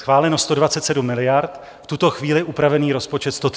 Schváleno 127 miliard, v tuto chvíli upravený rozpočet 133 miliard.